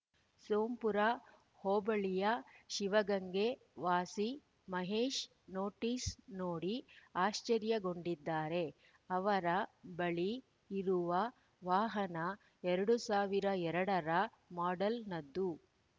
ಸೋಂಪುರ ಹೋಬಳಿಯ ಶಿವಗಂಗೆ ವಾಸಿ ಮಹೇಶ್‌ ನೋಟಿಸ್‌ ನೋಡಿ ಆಶ್ಚರ್ಯಗೊಂಡಿದ್ದಾರೆ ಅವರ ಬಳಿ ಇರುವ ವಾಹನ ಎರಡ್ ಸಾವಿರದ ಎರಡ ರ ಮಾಡೆಲ್‌ನದ್ದು